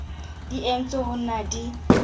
di entswe ho na di